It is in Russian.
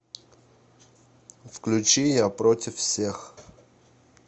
включи я против всех